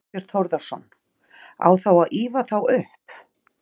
Þorbjörn Þórðarson: Á þá að ýfa þá upp?